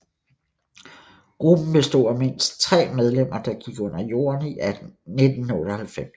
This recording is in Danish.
Gruppen bestod af mindst tre medlemmer der gik under jorden i 1998